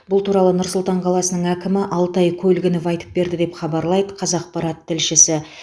бұл туралы нұр сұлтан қаласының әкімі алтай көлгінов айтып берді деп хабарлайды қазақпарат тілшісі